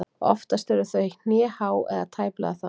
Oftast eru þau hnéhá eða tæplega það.